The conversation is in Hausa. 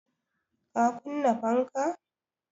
Ka kunna fanka?